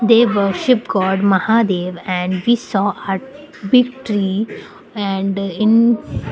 they worship god mahadev and we saw a big tree and in --